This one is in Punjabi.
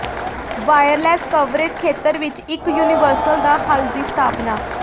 ਵਾਇਰਲੈੱਸ ਕਵਰੇਜ ਖੇਤਰ ਵਿੱਚ ਇੱਕ ਯੂਨੀਵਰਸਲ ਦਾ ਹੱਲ ਦੀ ਸਥਾਪਨਾ